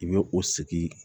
I bɛ o sigi